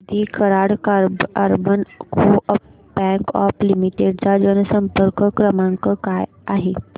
दि Karad urban co-op bank limited चा जनसंपर्क क्रमांक काय आहे